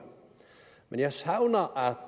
men jeg savner